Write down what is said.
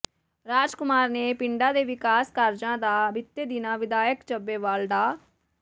ਰਾਜ ਕੁਮਾਰ ਨੇ ਪਿੰਡਾਂ ਦੇ ਵਿਕਾਸ ਕਾਰਜਾਂ ਦਾ ਬੀਤੇ ਦਿਨੀਂ ਵਿਧਾਇਕ ਚੱਬੇਵਾਲ ਡਾ